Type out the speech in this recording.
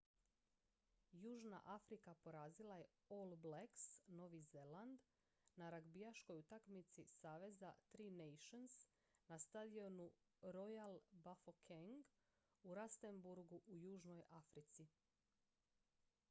južna afrika porazila je all blacks novi zeland na ragbijaškoj utakmici saveza tri nations na stadionu royal bafokeng u rustenburgu u južnoj africi